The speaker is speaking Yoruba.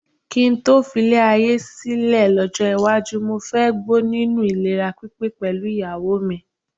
Kí n tó filé ayé yìí sílẹ̀ lọ́jọ́ iwájú, mo fẹ́ gbó nínú ìlera pípé pẹ̀lú ìyàwó mi.